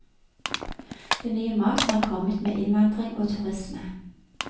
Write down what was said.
Den nye maten har kommet med innvandring og turisme.